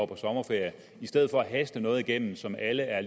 på sommerferie i stedet for at haste noget igennem som alle er